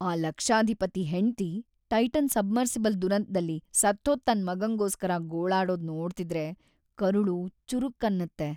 ಆ ಲಕ್ಷಾಧಿಪತಿ‌ ಹೆಂಡ್ತಿ ಟೈಟಾನ್ ಸಬ್‌ಮರ್ಸಿಬಲ್‌ ದುರಂತ್ದಲ್ಲಿ ಸತ್ಹೋದ್‌ ತನ್ ಮಗಂಗೋಸ್ಕರ ಗೋಳಾಡೋದ್‌ ನೋಡ್ತಿದ್ರೆ ಕರುಳು ಚುರುಕ್‌ ಅನ್ನತ್ತೆ.